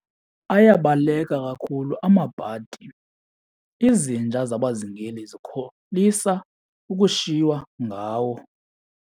Ayabaleka kakhulu amabhadi, izinja zabazingeli zikholisa ukushiywa ngawo.